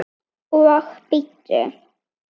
Og bíddu.